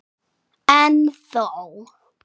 En þó.